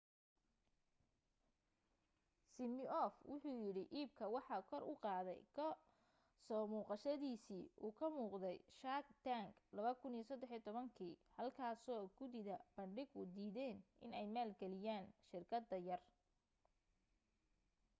simioff wuxu yidhi iibka waxa kor u qaaday ka soo muuqashadiisii uu ka muuqday shark tank 2013kii halkaasoo guddida bandhigu diideen inay maalgeliyaan shirkadda yar